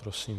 Prosím.